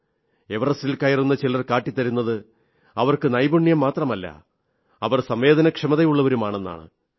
എവറസ്റ്റിൽ കയറുന്ന ചിലർ കാട്ടിത്തന്നത് അവർക്ക് നൈപുണ്യം മാത്രമല്ല അവർ സംവേദനക്ഷമതയുള്ളവരും ആണെന്നാണ്